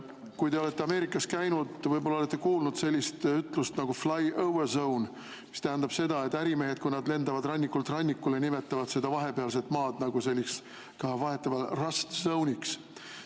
Kui te olete Ameerikas käinud, võib-olla olete kuulnud sellist väljendit nagu flyover zone, mis tähendab seda, et ärimehed, kui nad lendavad rannikult rannikule, nimetavad seda vahepealset maad nagu selliseks rust zone'iks.